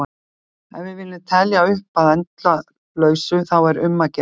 Ef við viljum telja upp að endalausu þá er um að gera að byrja!